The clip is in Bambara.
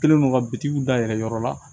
Kɛlen don ka bitigiw dayɛlɛ yɔrɔ la